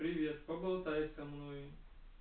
привет поболтай со мной